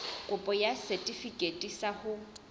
kopo ya setefikeiti sa ho